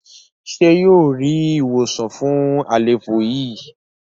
ṣe yíò rí ìwòsàn fún àléfọ yí?